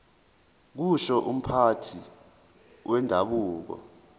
kusho umphathi wendabuko